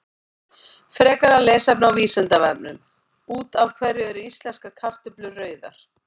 Frekara lesefni á Vísindavefnum: Út af hverju eru íslenskar kartöflur rauðar?